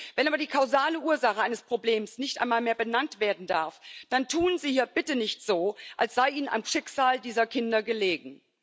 Wenn aber die kausale Ursache eines Problems nicht einmal mehr benannt werden darf, dann tun Sie hier bitte nicht so, als sei Ihnen am Schicksal dieser Kinder gelegen.